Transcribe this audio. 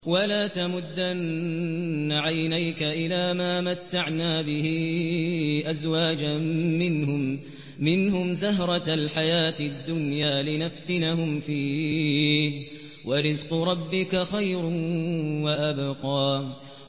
وَلَا تَمُدَّنَّ عَيْنَيْكَ إِلَىٰ مَا مَتَّعْنَا بِهِ أَزْوَاجًا مِّنْهُمْ زَهْرَةَ الْحَيَاةِ الدُّنْيَا لِنَفْتِنَهُمْ فِيهِ ۚ وَرِزْقُ رَبِّكَ خَيْرٌ وَأَبْقَىٰ